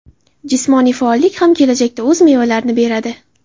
Jismoniy faollik ham kelajakda o‘z mevalarini beradi.